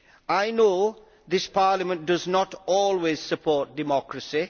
I know that this Parliament does not always support democracy.